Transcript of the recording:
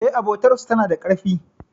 E, abotar su tana da karfi.